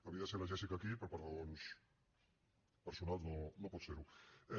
havia de ser la jéssica aquí però per raons personals no pot ser hi